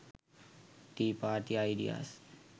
tea party ideas